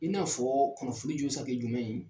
I n'a fɔ kunnafoli jɔ be se ka kɛ jumɛn ye.